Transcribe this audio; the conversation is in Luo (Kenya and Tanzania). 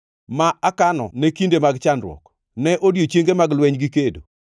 ma akano ne kinde mag chandruok, ne odiechienge mag lweny gi kedo?